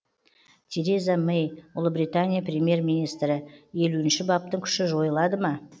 тереза мэй ұлыбритания премьер министрі елуінші баптың күші жойылады ма